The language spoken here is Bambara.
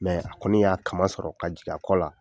a kɔni y'a kaman sɔrɔ ka jigin a kɔ la.